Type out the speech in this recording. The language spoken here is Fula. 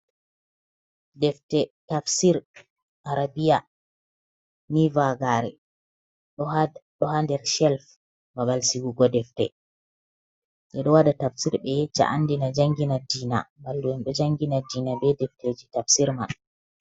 Ɗefte tafsir arabia ni vagare ɗo ha ɗo hander chelf ɓaɓal sihugo ɗefte ɓedo waɗa tafsir ɓe Yecca, Andina, jangina dina mallu'en ɗo jangina dina ɓe ɗefteji tafsir man.